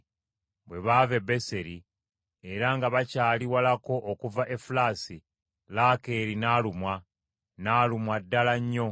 Bwe baava e Beseri, era nga bakyali walako okuva Efulasi, Laakeeri n’alumwa, n’alumwa ddala nnyo.